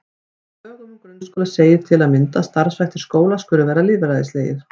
Í lögum um grunnskóla segir til að mynda að starfshættir skóla skuli vera lýðræðislegir.